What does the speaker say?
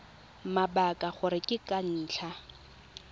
mabaka gore ke ka ntlha